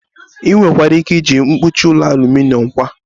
Ị nwekwara ike iji mkpuchi ụlọ aluminom kwa